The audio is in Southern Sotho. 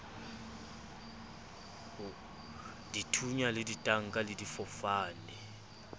dithunya le ditanka le difofane